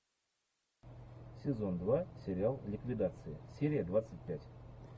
сезон два сериал ликвидация серия двадцать пять